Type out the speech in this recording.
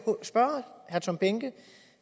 spørge herre tom behnke